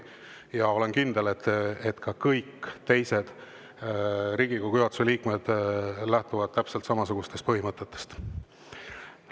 Ja olen kindel, et ka kõik teised Riigikogu juhatuse liikmed lähtuvad täpselt samasugustest põhimõtetest.